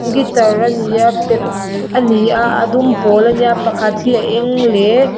guitar a ni a perh a ni a a dum pawl a nia pakhat hi a eng leh--